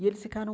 E eles ficaram